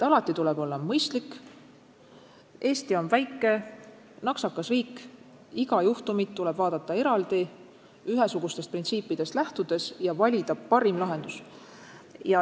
Alati tuleb olla mõistlik, Eesti on väike, naksakas riik, iga juhtumit tuleb vaadata eraldi ühesugustest printsiipidest lähtudes ja valida parim lahendus.